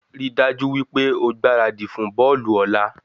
Rí dájú wípé o gbáradì fún bọ́ọ̀lù òla